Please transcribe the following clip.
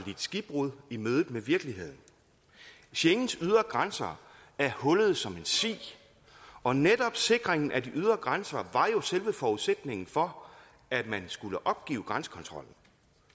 skibbrud i mødet med virkeligheden schengens ydre grænser er hullede som en si og netop sikringen af de ydre grænser var jo selve forudsætningen for at man skulle opgive grænsekontrollen